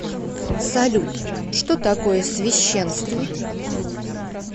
салют что такое священство